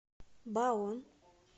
баон